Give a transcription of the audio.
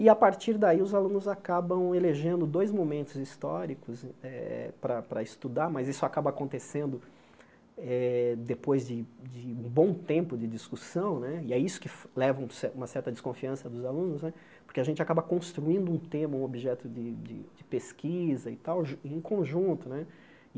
E, a partir daí, os alunos acabam elegendo dois momentos históricos eh para para estudar, mas isso acaba acontecendo eh depois de de um bom tempo de discussão né, e é isso que leva um cer uma certa desconfiança dos alunos né, porque a gente acaba construindo um tema, um objeto de de de pesquisa e tal em conjunto né.